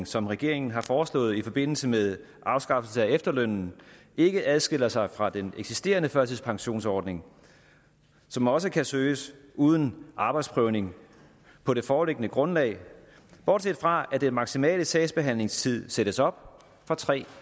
som regeringen har foreslået i forbindelse med afskaffelse af efterlønnen ikke adskiller sig fra den eksisterende førtidspensionsordning som også kan søges uden arbejdsprøvning på det foreliggende grundlag bortset fra at den maksimale sagsbehandlingstid sættes op fra tre